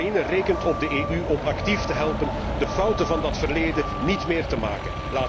Oekraïne rekent op de EU om actief te helpen de fouten van dat verleden niet meer te maken.